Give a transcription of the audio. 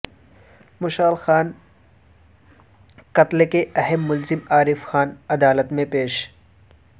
مشال خان قتل کے اہم ملزم عارف خان عدالت میں پیش